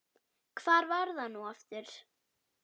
hvar var það nú aftur?